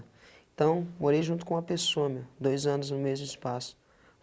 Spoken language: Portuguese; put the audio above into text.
Então, morei junto com uma pessoa, meu, dois anos no mesmo espaço.